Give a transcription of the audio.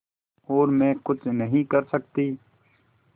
और मैं कुछ नहीं कर सकती